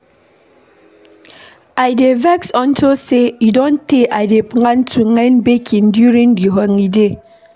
I dey vex unto say e don tey I dey plan to learn baking during the holiday.